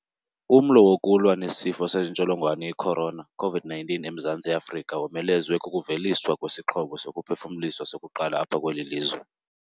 Umlo wokulwa nesifo sentsholongwane i-corona, COVID-19, eMzantsi Afrika womelezwe kukuveliswa kwesixhobo sokuphefumlisa sokuqala apha kweli lizwe.